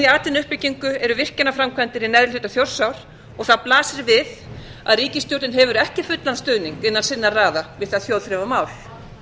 atvinnuuppbyggingu eru virkjunarframkvæmdir í neðri hluta þjórsár og það blasir við að ríkisstjórnin hefur ekki fullan stuðning innan sinna raða við það þjóðþrifamál